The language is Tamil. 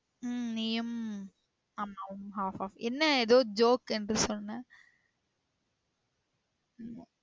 உம் நீயும் அம்மாவும் half half. என்ன எதோ ஜோக் என்று சொன்னா? ம்.